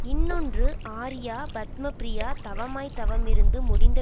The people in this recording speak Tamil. இன்னொன்று ஆர்யா பத்மப்ரியா தவமாய் தவமிருந்து முடிந்த